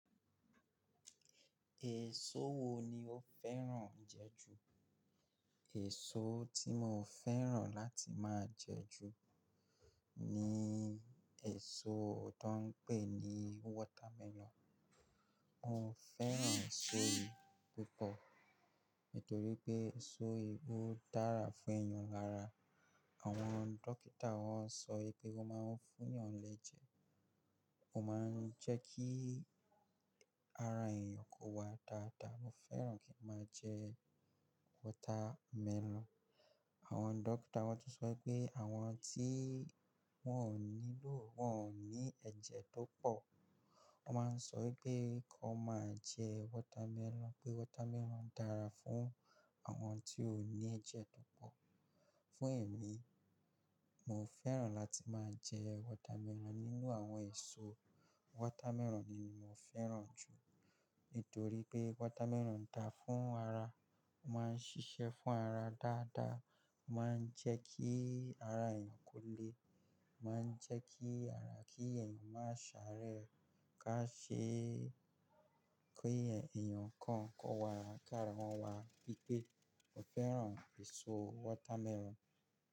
Èso wo ni o fẹ́ràn jẹ ju? Èso tí mo fẹ́ràn láti máa jẹ ju ni èso tó ń pè ní watermelon. Mo fẹ́ràn èso yìí púpọ̀ nítorí pé èso yìí ó dára fún ẹ̀eyàn lára. Àwọn dókítà wọ́n sọ wipé wón máa ń fún eeyàn léje, ó máa ń jẹ́ kí ara ẹ̀eyàn kó wa dáadáa. Mo fẹ́ràn kí n máa jẹ watermelon. Àwọn dókítà wọ́n tun sọ wipé àwọn tí wọ́n ò nílò wọ́n ò ní ẹ̀jẹ̀ tó pọ̀, wọ́n máa ń sọ wipé kí wọ́n máa jẹ watermelon. Pé watermelon dára fún àwọn tí ò ní ẹ̀jẹ̀ tó pọ̀. Fún èmi, mo fẹ́ràn láti máa jẹ watermelon. Nínú àwọn èso, watermelon ni mo fẹ́ràn jù nítorí pé watermelon dáa fún ara. Ó máa ń ṣiṣẹ́ fún ara dáadáa, ó máa ń jẹ́ kí ara ẹ̀eyàn kó le, ó máa ń jẹ́ kí ara kí ẹ̀eyàn má sáré ká ṣe kí ẹ̀eyàn kan kó wa ara ká ara wọn wá. Nítorí pé mo fẹ́ràn èso watermelon.